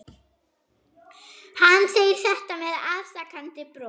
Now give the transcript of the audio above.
Hann segir þetta með afsakandi brosi.